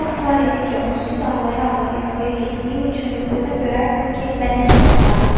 Bir vaxt var idi ki, onsuz ağlaya-ağlaya yuxuya getdiyim üçün yuxuda görərdim ki, məni su aparır.